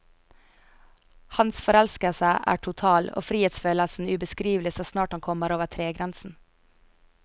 Hans forelskelse er total, og frihetsfølelsen ubeskrivelig så snart han kommer over tregrensen.